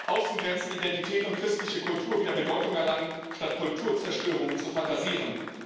Außengrenzenidentität und christliche Kultur wieder Bedeutung erlangen, statt Kulturzerstörung zu fantasieren.